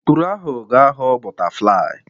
Ikpuru ahụ ga-aghọ bọtaflai.